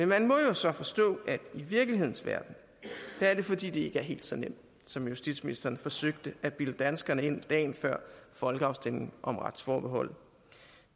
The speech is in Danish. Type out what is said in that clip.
man må jo så forstå at i virkelighedens verden er det fordi det ikke er helt så nemt som justitsministeren forsøgte at bilde danskerne ind dagen før folkeafstemningen om retsforbeholdet